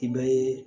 I bɛ